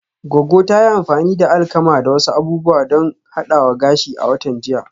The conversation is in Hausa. Goggo ta yi amfani da alkama da wasu abubuwa don hadawa gashi a watan jiya